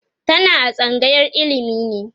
tana a tsangayar ilimi ne